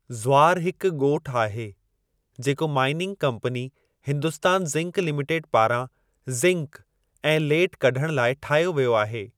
ज़्वारु हिकु ॻोठु आहे जेको mining company Hindustan zinc limited पारां जिंक ऐं लेड कढणु लाइ ठाहियो वियो आहे।